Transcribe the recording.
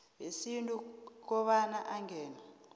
wesintu kobana angene